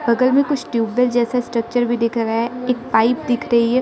बगल में कुछ ट्यूबेल जैसा स्ट्रक्चर भी दिख रहा एक पाइप दिख रही है।